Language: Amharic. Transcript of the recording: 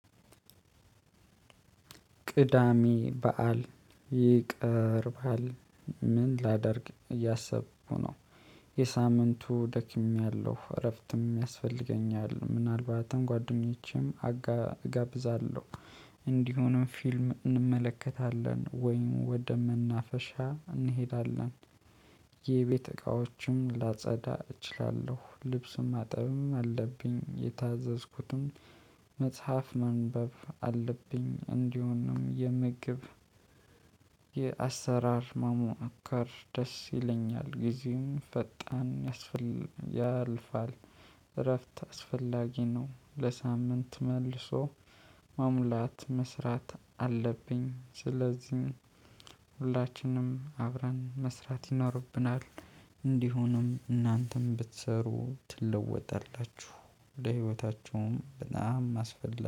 ቅዳሜ በዓል ይቀርባል። ምን ላደርግ እያሰብኩ ነው። የሳምንቱ ደክሜያለሁ፤ እረፍትም ያስፈልገኛል። ምናልባትም ጓደኞቼም አጋ አጋብዛለሁ። እንዲሆንም ፊልም እንመለከታለን። ወይንም ወደ መናፈሻ እንሄዳለን። የቤት እቃዎችም ላጸዳ እችላለሁ። ልብሱም ማጠብም አለብኝ። የታዘዝኩትም መጽሐፍ ማንበብ አለብኝ። እንዲሆንም የምግብ የአሰራር ማሞአከር ደስ ይለኛል። ጊዜውን ፈጣን ያስፈል ያልፋል። እረፍት አስፈላጊ ነው። ለሳምንት መልሶ ማሙላት መስራት አለብኝ። ስለዚህ ሁላችንም አብረን መስራት ይኖርብናል። እንዲሆንም እናንተም ብትሰሩ ትለወጣላችሁ። ለህይወታችሁም በጣም አስፈላ